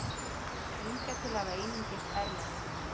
Hingað til hafa einungis erlend